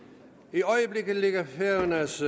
i øjeblikket ligger færøernes